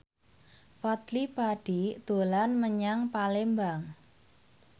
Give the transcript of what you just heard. Fadly Padi dolan menyang Palembang